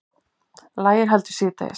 Lægir heldur síðdegis